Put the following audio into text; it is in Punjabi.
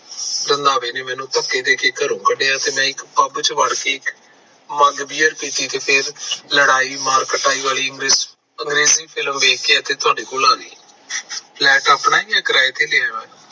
ਰੰਧਾਵੇ ਨੇ ਮੈਨੂੰ ਧੱਕੇ ਦੇ ਕੇ ਘਰੋ ਕੱਢਿਆ ਤੇ ਮੈਂ ਇੱਕ ਪੱਬ ਚ ਵੜ ਕੇ ਮੰਗ ਇੱਕ ਅੰਗਰੇਜੀ ਬੀਅਰ ਪੀਤੀ ਫਿਰ ਲੜਾਈ ਮਾਰ ਕੁਟਾਈ ਵਾਲੀ ਇੱਕ ਫਿਲਮ ਦੇਖੀ ਤੇ ਤੁਹਾਡੇ ਕੋਲ ਆ ਗਈ flat ਆਪਣਾ ਐ ਕਿ ਕਿਰਾਏ ਦਾ